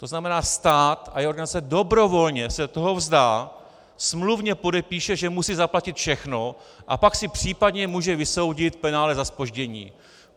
To znamená, stát a jeho organizace dobrovolně se toho vzdá, smluvně podepíše, že musí zaplatit všechno, a pak si případně může vysoudit penále za zpoždění.